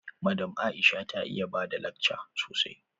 Madam Aisha ta iya bada lakca sosai.